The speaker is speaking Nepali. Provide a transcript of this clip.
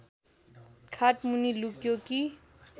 खाटमुनि लुक्यो कि